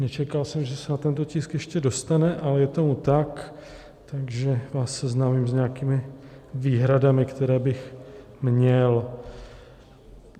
Nečekal jsem, že se na tento tisk ještě dostane, ale je tomu tak, takže vás seznámím s nějakými výhradami, které bych měl.